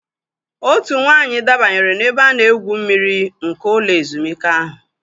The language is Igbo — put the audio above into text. Otu nwaanyị dabanyere n'ebe a na-egwu mmiri nke ụlọ ezumike ahụ.